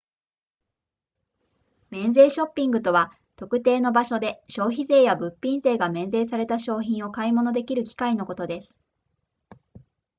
免税ショッピングとは特定の場所で消費税や物品税が免税された商品を買い物できる機会のことです